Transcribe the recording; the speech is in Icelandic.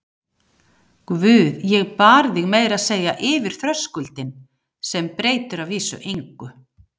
Guð, ég bar þig meira segja yfir þröskuldinn, sem breytir að vísu engu.